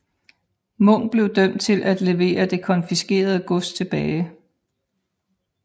Munk blev dømt til at levere det konfiskerede gods tilbage